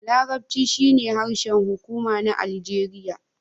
Larabci shine harshen hukuma na Aljeriya.